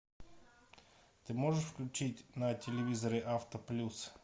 ты можешь включить на телевизоре авто плюс